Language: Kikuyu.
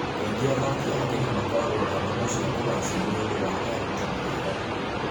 Kaingĩ athaki a Kenya makoragwo na ngumo cia kũgaacĩra nĩ ũndũ wa arutani ao.